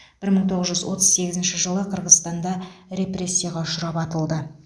бір мың тоғыз жүз отыз сегізінші жылы қырғызстанда репрессияға ұшырап атылды